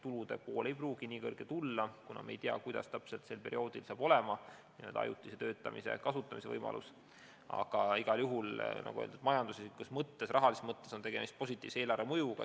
Tulude pool ei pruugi nii suur tulla, kuna me ei tea, millised saavad sel perioodil olema ajutise töötamise võimalused, aga igal juhul on tegemist rahalises mõttes positiivse eelarvemõjuga.